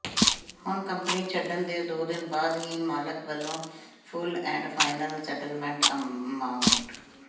ਹੁਣ ਕੰਪਨੀ ਛੱਡਣ ਦੇ ਦੋ ਦਿਨ ਬਾਅਦ ਹੀ ਮਾਲਕ ਵੱਲ਼ੋਂ full and final settlement amount